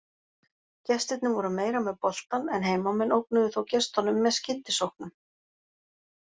Gestirnir voru meira með boltann en heimamenn ógnuðu þó gestunum með skyndisóknum.